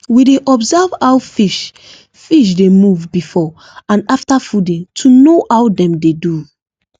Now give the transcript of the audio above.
we dey observe how fish fish dey move before and after fooding to know how dem dey do